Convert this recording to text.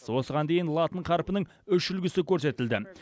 осыған дейін латын қарпінің үш үлгісі көрсетілді